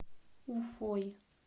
уфой